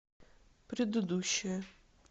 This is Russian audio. предыдущая